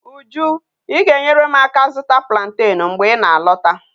Uju I ga enwere m aka zuta plantain mgbe I na alota?